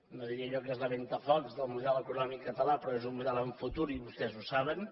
no diria allò que és la ventafocs del model econòmic català però és un model amb futur i vostès ho saben